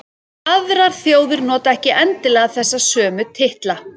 Aðrar þjóðir nota ekki endilega þessa sömu titla.